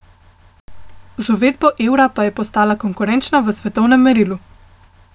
Z uvedbo evra pa je postala konkurenčna v svetovnem merilu.